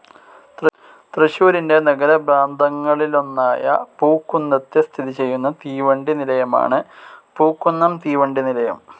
തൃശൂരിൻ്റെ നഗരപ്രാന്തങ്ങളിലൊന്നായ പൂക്കുന്നത്ത് സ്ഥിതി ചെയുന്ന തീവണ്ടി നിലയമാണ് പൂക്കുന്നം തീവണ്ടി നിലയം.